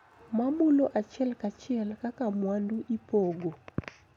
Ma mulo achiel kachiel kaka mwandu ipogo